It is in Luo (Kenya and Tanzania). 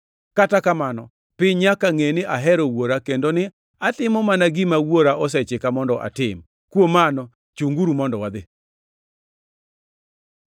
Kata kamano, piny nyaka ngʼe ni ahero Wuora kendo ni atimo mana gima Wuora osechika mondo atim. “Kuom mano, chunguru mondo wadhi.